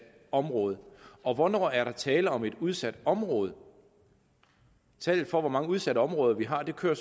område og hvornår er der tale om et udsat område tallet for hvor mange udsatte områder vi har kører